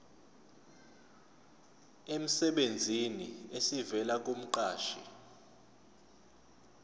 emsebenzini esivela kumqashi